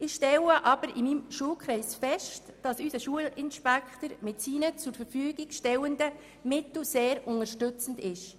Ich stelle jedoch in meinem Schulkreis fest, dass unser Schulinspektor mit den ihm zur Verfügung stehenden Mitteln sehr unterstützend wirkt.